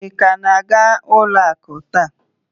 Ị ka na-aga ụlọ akụ taa?